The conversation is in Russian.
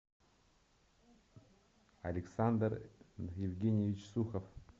александр евгеньевич сухов